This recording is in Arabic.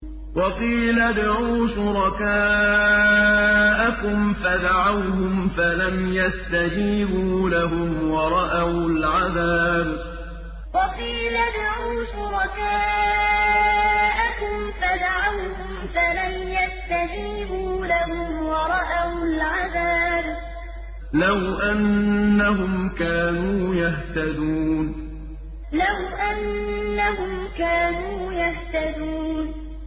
وَقِيلَ ادْعُوا شُرَكَاءَكُمْ فَدَعَوْهُمْ فَلَمْ يَسْتَجِيبُوا لَهُمْ وَرَأَوُا الْعَذَابَ ۚ لَوْ أَنَّهُمْ كَانُوا يَهْتَدُونَ وَقِيلَ ادْعُوا شُرَكَاءَكُمْ فَدَعَوْهُمْ فَلَمْ يَسْتَجِيبُوا لَهُمْ وَرَأَوُا الْعَذَابَ ۚ لَوْ أَنَّهُمْ كَانُوا يَهْتَدُونَ